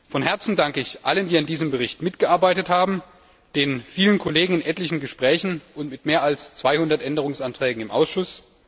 Von Herzen danke ich allen, die an diesem Bericht mitgearbeitet haben, den vielen Kollegen in etlichen Gesprächen und mit mehr als 200 Änderungsanträgen im Ausschuss.